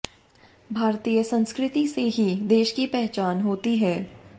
भारतीय संस्कृति से ही देश की पहचान होती है